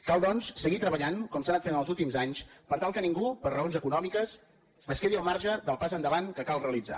cal doncs seguir treballant com s’ha anat fent els últims anys per tal que ningú per raons econòmiques es quedi al marge del pas endavant que cal realitzar